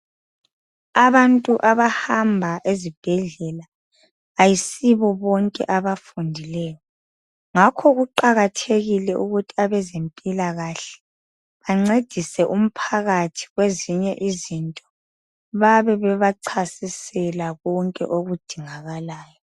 Abantu abahamba esibhedlela ayisibo bonke abafundileyo. Ngakho kuqakathekile ukuthi abezempilakahle bancedise umphakathi kwezinye izinto babe bebachasisela konke okudingakalayo.